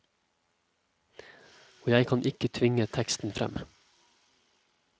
Og jeg kan ikke tvinge teksten frem.